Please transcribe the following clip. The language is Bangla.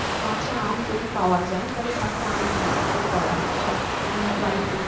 কাঁচা আম যদি পাওয়া যায় তাহলে কাঁচা আমের চাটনিটাই করা হবে সবকিছু তোমার dry fruit